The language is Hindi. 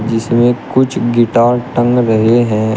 जिसमें कुछ गिटार टंग रहे हैं।